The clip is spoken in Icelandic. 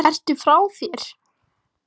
Ertu frá þér?